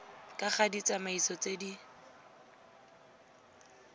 ka ga ditsamaiso tse di